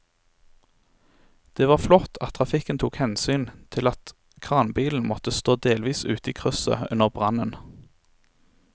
Det var flott at trafikken tok hensyn til at kranbilen måtte stå delvis ute i krysset under brannen.